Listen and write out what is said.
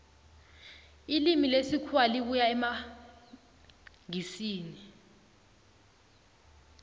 ilimi lesikhuwa libuya emangisini